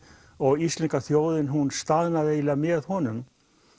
og íslenska þjóðin staðnaði með honum